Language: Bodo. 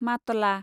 मातला